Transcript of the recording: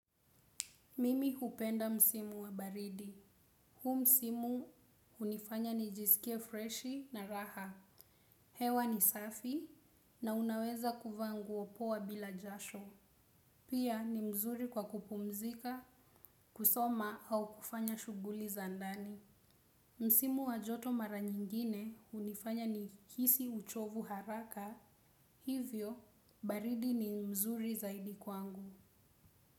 Mimi hupenda msimu wa baridi. Hu msimu hunifanya nijisikie freshi na raha. Hewa ni safi, na unaweza kuvaa nguo poa bila jasho. Pia ni mzuri kwa kupumzika, kusoma au kufanya shughuli za ndani. Msimu wa joto mara nyingine hunifanya nihisi uchovu haraka. Hivyo, baridi ni mzuri zaidi kwangu.